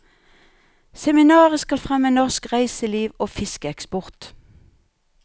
Seminaret skal fremme norsk reiseliv og fiskeeksport.